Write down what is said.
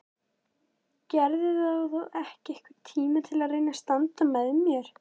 Geturðu þá ekki einhvern tíma reynt að standa með mér?